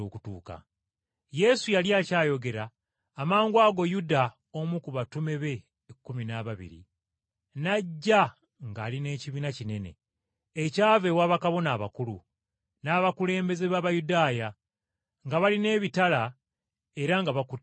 Yesu yali akyayogera, amangwago Yuda (omu ku batume be ekkumi n’ababiri) n’ajja ng’ali n’ekibiina kinene, ekyava ewa bakabona abakulu, n’abakulembeze b’Abayudaaya, nga balina ebitala era nga bakutte emiggo.